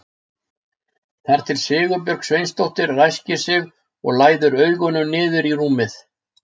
Þar til Sigurbjörg Sveinsdóttir ræskir sig og læðir augunum niður í rúmið.